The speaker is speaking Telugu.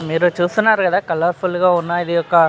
మీరు చుస్తునారు కదా కలర్ ఫుల్ గా ఉన్న ఇది ఒక --.